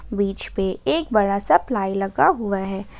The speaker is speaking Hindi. बीच पे एक बड़ा प्लाई लगा हुआ है।